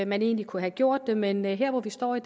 man egentlig kunne have gjort det men her hvor vi står i